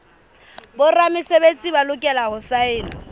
boramesebetsi ba lokela ho saena